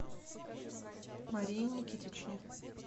марии никитичне